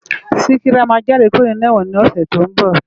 Sikira má jàdé kúró ninú èwòn ni òsè tó n bò